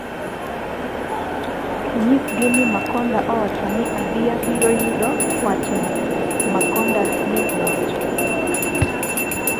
inyisgi ni Makonda owachona ni abi abiro yudo wach'na ," Makonda ne owacho